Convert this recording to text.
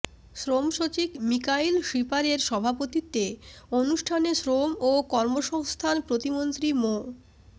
শ্রমসচিব মিকাইল শিপারের সভাপতিত্বে অনুষ্ঠানে শ্রম ও কর্মসংস্থান প্রতিমন্ত্রী মো